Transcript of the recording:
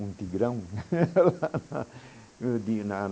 Um Tigrão.